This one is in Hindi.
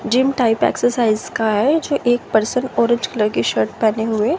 जिम टाइप एक्सरसाइज का है जो एक पर्सन औरेंज कलर की शर्ट पहने हुए।